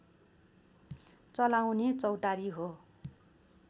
चलाउने चौतारी हो